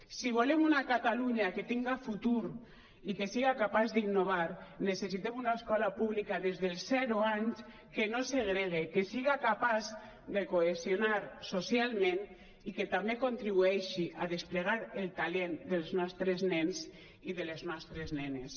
si volem una catalunya que tinga futur i que siga capaç d’innovar necessitem una escola pública des dels zero anys que no segregui que siga capaç de cohesionar socialment i que també contribueixi a desplegar el talent dels nostres nens i de les nostres nenes